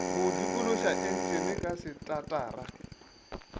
go dikološa entšene ka setatara